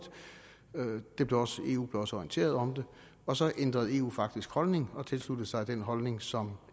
eu blev også orienteret om det og så ændrede eu faktisk holdning og tilsluttede sig den holdning som